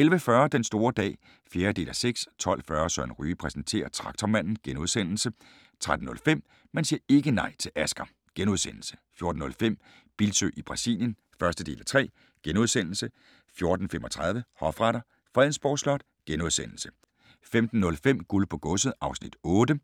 11:40: Den store dag (4:6) 12:40: Søren Ryge præsenterer: Traktormanden * 13:05: Man siger ikke nej til Asger! * 14:05: Bildsøe i Brasilien (1:3)* 14:35: Hofretter: Fredensborg Slot * 15:05: Guld på godset (Afs. 8)